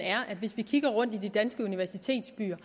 er at hvis vi kigger rundt i danske universitetsbyer